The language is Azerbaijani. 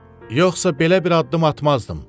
Yoxsa belə bir addım atmazdım.